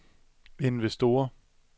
investorer